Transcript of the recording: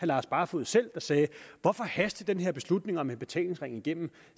lars barfoed selv der sagde hvorfor haster i den her beslutning om en betalingsring igennem